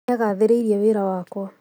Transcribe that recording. Nĩagathĩrĩirie wĩra wakwa